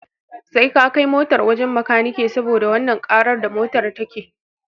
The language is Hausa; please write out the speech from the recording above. Sai ka kai motar wajan makanike saboda wannan ƙarar da motar take